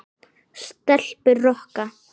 Stelpur rokka!